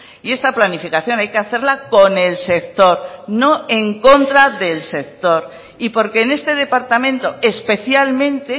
y esta planificación hay que hacerla con el sector no en contra del sector y porque en este departamento especialmente